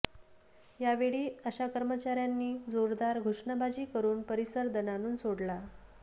यावेळी आशा कर्मचार्यांनी जोरदार घोषणाबाजी करून परिसर दणाणून सोडला